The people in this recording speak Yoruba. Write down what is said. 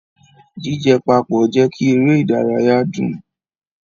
Jijẹ papọ jẹ kí eré ìdárayá dùn.